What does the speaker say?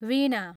वीणा